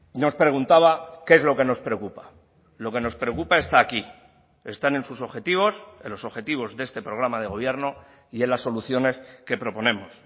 nos preguntaba qué es lo que nos preocupa lo que nos preocupa está aquí están en sus objetivos en los objetivos de este programa de gobierno y en las soluciones que proponemos